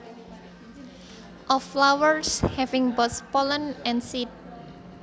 Of flowers having both pollen and seeds